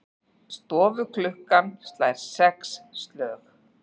Stofuklukkan slær sex slög.